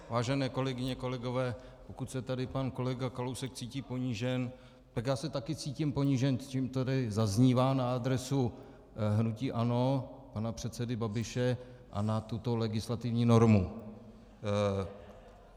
Vážené kolegyně, kolegové, pokud se tady pan kolega Kalousek cítí ponížen, tak já se taky cítím ponížen tím, co tady zaznívá na adresu hnutí ANO pana předsedy Babiše a na tuto legislativní normu.